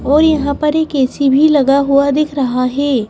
और यहाँ पर एक ऐ_सी भी लगा हुआ दिख रहा है।